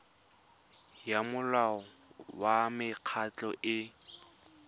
ya molao wa mekgatlho e